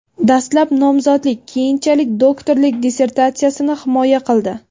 Dastlab nomzodlik, keyinchalik doktorlik dissertatsiyasini himoya qildi.